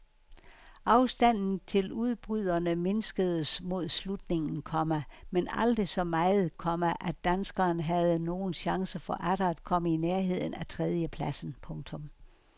Afstanden til udbryderne mindskedes mod slutningen, komma men aldrig så meget, komma at danskeren havde nogen chance for atter at komme i nærheden af tredjepladsen. punktum